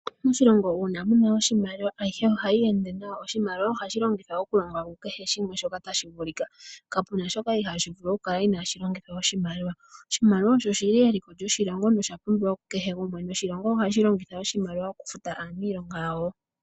Moshilongo uuna mu na oshimaliwa ayihe oha yeende nawa, oshimaliwa oha shi longithwa okulonga kehe shimwe shoka tashi vulika, ka pu na shoka iha shi vulu okukala ina shi longithwa oshimaliwa. Oshimaliwa osho shi li eliko lyoshilongo nosha pumbiwa ku kehe gumwe noshilongo ohashi longitha oshimaliwa okufuta aanilonga yawo.